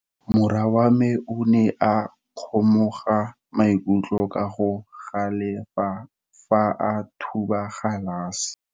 Morwa wa me o ne a kgomoga maikutlo ka go galefa fa a thuba galase.